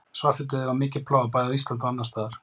Svartidauði var mikil plága bæði á Íslandi og annars staðar.